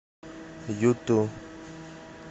юту